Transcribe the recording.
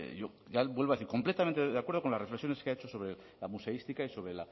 vuelvo a decir completamente de acuerdo con las reflexiones que ha hecho sobre la museística y sobre